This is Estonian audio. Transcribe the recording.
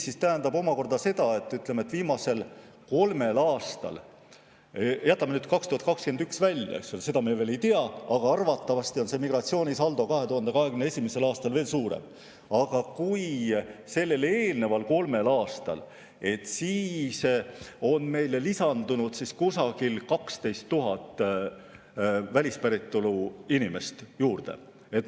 See tähendab omakorda seda – jätame nüüd 2021. aasta välja, seda me veel ei tea, aga arvatavasti on migratsioonisaldo 2021. aastal veel suurem –, et 2021. aastale eelnenud kolmel aastal lisandus meile kusagil 12 000 välispäritolu inimest.